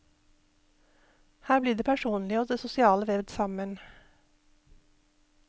Her blir det personlige og det sosiale vevd sammen.